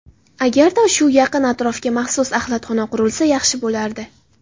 Agarda shu yaqin atrofga maxsus axlatxona qurilsa, yaxshi bo‘lardi.